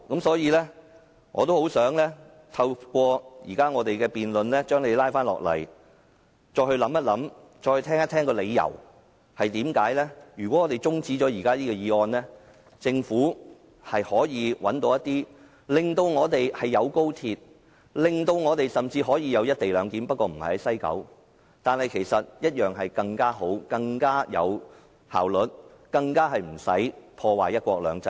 所以，我也希望透過現在的辯論，將他拉回來再作考慮，聽一聽為甚麼如果我們中止這個議案，政府一樣可以找出方案，令我們既有高鐵，甚至也有"一地兩檢"，不過不設在西九龍站，但更好、更有效率，而無須破壞"一國兩制"。